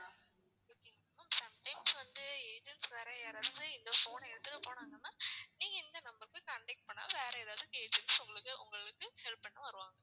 sometimes வந்து agents வேற யாராவது இந்த phone அ எடுத்துட்டு போனாங்கன்னா நீங்க இந்த number க்கு contact வேற ஏதாவது agents உங்களுக்கு உங்களுக்கு help பண்ண வருவாங்க